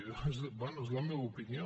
bé és la meva opinió